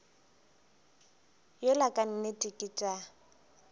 yola ka nnete ke tša